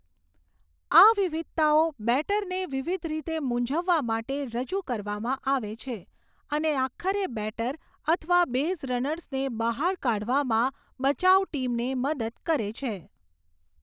આ વિવિધતાઓ બેટરને વિવિધ રીતે મૂંઝવવા માટે રજૂ કરવામાં આવે છે, અને આખરે બેટર અથવા બેઝ રનર્સને બહાર કાઢવામાં બચાવ ટીમને મદદ કરે છે.